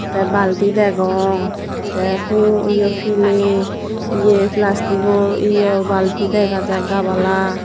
tey balti degong tey huo ye piley ye plastigo ye balti dega jar gabala.